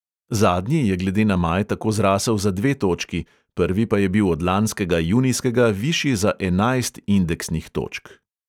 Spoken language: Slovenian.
Zadnji je glede na maj tako zrasel za dve točki, prvi pa je bil od lanskega junijskega višji za enajst indeksnih točk.